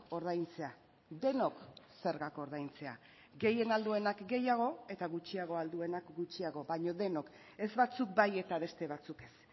ordaintzea denok zergak ordaintzea gehien ahal duenak gehiago eta gutxiago ahal duenak gutxiago baino denok ez batzuk bai eta beste batzuk ez